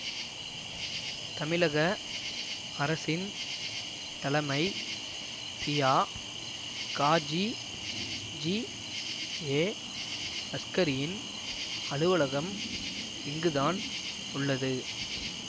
தமிழக அரசின் தலமை ஷியா காஜி ஜிஏ அஸ்கரியின் அலுவலகம் இங்குதான் உள்ளது